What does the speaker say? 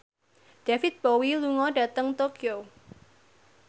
David Bowie lunga dhateng Tokyo